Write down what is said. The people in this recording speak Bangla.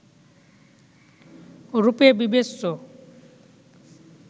রূপে বিবেচ্য